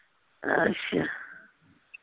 ਅੱਛਾ।